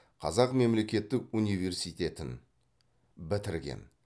қазақ мемлекеттік университетін бітірген